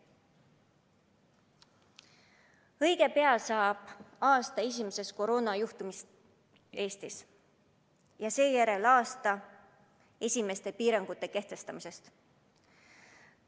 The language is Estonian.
Õige pea saab täis aasta esimesest koroonajuhtumist Eestis ja seejärel aasta esimeste piirangute kehtestamisest.